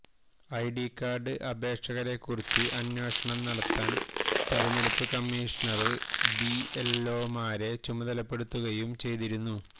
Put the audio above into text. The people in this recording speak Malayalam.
ഐഡികാര്ഡ് അപേക്ഷകരെ കുറിച്ച് അന്വേഷണം നടത്താന് തെരഞ്ഞെടുപ്പ് കമ്മീഷണര് ബിഎല്ഒമാരെ ചുമതലപ്പെടുത്തുകയും ചെയ്തിരുന്നു